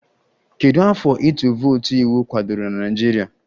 Kedu afọ ịtụ vootu iwu kwadoro na Naịjirịa?